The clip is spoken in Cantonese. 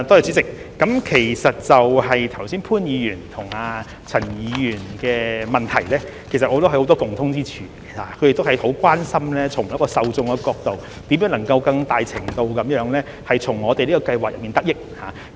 主席，其實潘議員和陳議員剛才的質詢均有很多共通之處，他們都很關心從受眾的角度，如何能夠更大程度地從我們的計劃中得益。